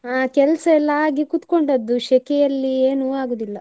ಅಹ್ ಕೆಲ್ಸ ಎಲ್ಲಾ ಆಗಿ ಕೂತ್ಕೊಂಡದ್ದು, ಸೆಕೆಯಲ್ಲಿ ಏನು ಆಗುದಿಲ್ಲ.